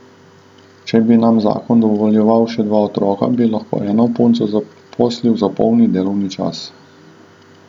Če bi nam zakon dovoljeval še dva otroka, bi lahko eno punco zaposlili za polni delovni čas.